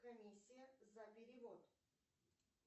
комиссия за перевод